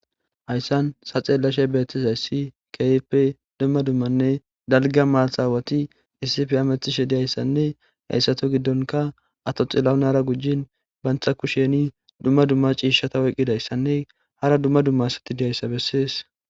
Haysan ta xelashe betiyaysi keehippe dumma dumma mata aawati issippe hemetishe de'izaysanne ha assatu giddonka ato xilahunara gujin banta kusheni dumma dumma ciisha oykidaysanne hara dumma dumma asati de'iyaysa besesi.